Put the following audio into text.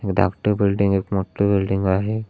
एक धाकट बिल्डिंग एक मोठ बिल्डिंग आहे.